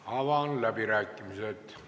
Avan läbirääkimised.